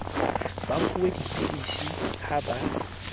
ba fuwe dipilisi ha ba